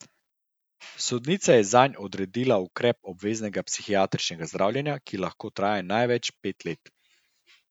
Sodnica je zanj odredila ukrep obveznega psihiatričnega zdravljenja, ki lahko traja največ pet let.